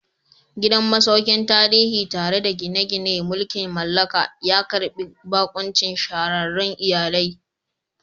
Gidan masaukin tarihi, tare da gine-ginen mulkin mallaka, ya karbi bakuncin shahararrun iyalai.